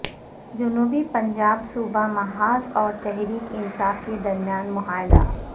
جنوبی پنجاب صوبہ محاذ اور تحریک انصاف کےدرمیان معاہدہ